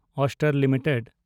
Astral limited